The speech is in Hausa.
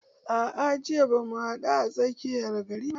A'a jiya bamu haɗu a tsakiyar gari ba